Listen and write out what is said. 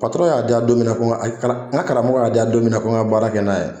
y'a diya don min n ka karamɔgɔ y'a di yan don min na ko n ka baara kɛ n'a ye